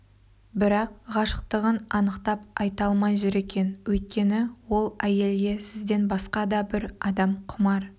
бірақ ғашықтығын анықтап айта алмай жүр екен өйткені ол әйелге сізден басқа да бір адам құмар